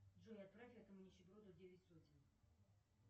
джой отправь этому нищеброду девять сотен